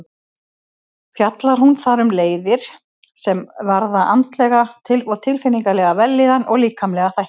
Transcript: Fjallar hún þar um leiðir sem varða andlega og tilfinningalega vellíðan og líkamlega þætti.